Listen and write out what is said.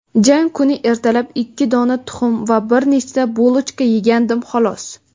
Jang kuni ertalab ikki dona tuxum va bir nechta "bulochka" yegandim xolos.